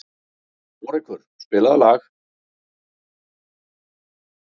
Hárekur, spilaðu lag.